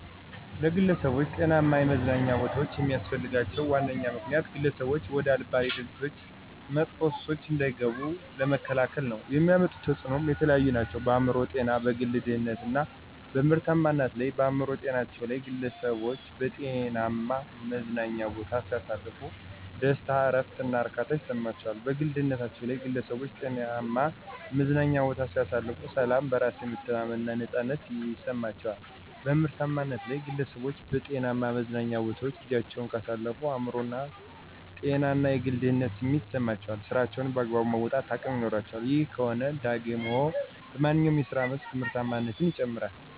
ለግለሠቦች ጤናማ የመዝናኛ ቦታዎች የሚስፈልጋቸው ዋነኛ ምክንያት፦ ግለሠቦች ወደ አልባሌ ድርጊቶች እና መጥፎ ሱሶች እንዳይገቡ ለመከላከል ነው። የሚያመጡት ተፅኖም የተለያዩ ናቸው፦ በአእምሮ ጤና፣ በግል ደህንነት እና በምርታማነት ላይ። -በአእምሮ ጤናቸው ላይ፦ ግለሠቦች በጤናማ መዝናኛ ቦታ ሲያሳልፉ ደስታ፣ እረፍት እና እርካታ ይሠማቸዋል። -በግል ደህንነታቸ ላይ ግለሠቦች ጤናማ መዝናኛ ቦታ ሲያሳልፉ፦ ሠላም፣ በራስ የመተማመን እና ነፃነት ይማቸዋል። -በምርታማነት ላይ፦ ግለሠቦች በጤናማ መዝናኞ ቦታወች ጊዚያቸውን ካሳለፉ የአእምሮ ጤና እና የግል ደህንነት ስሜት ይሠማቸዋል ስራቸውንም በአግባቡ የመወጣት አቅም ይኖራቸዋል። ይህ ከሆነ ደግሞ በማንኛው የስራ መስክ ምርታማነት ይጨምራል።